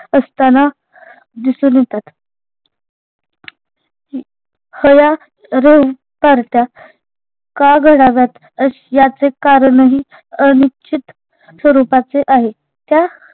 असताना दिसून येतात हया rev पार्ट्या का घडाव्यात अ याचे कारणही अनिश्चित स्वरूपाचे आहे त्या